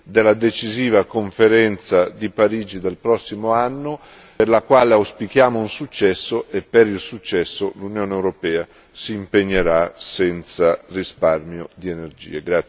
della decisiva conferenza di Parigi del prossimo anno per la quale auspichiamo un successo, e per il successo l'Unione europea si impegnerà senza risparmio di energie.